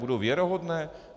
Budou věrohodné?